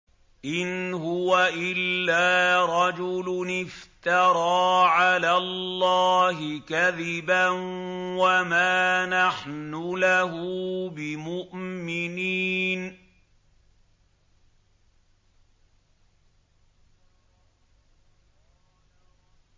إِنْ هُوَ إِلَّا رَجُلٌ افْتَرَىٰ عَلَى اللَّهِ كَذِبًا وَمَا نَحْنُ لَهُ بِمُؤْمِنِينَ